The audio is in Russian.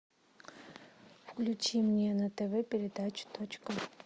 включи мне на тв передачу точка